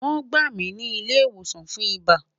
Won gba mi ni ile iwosan fun iba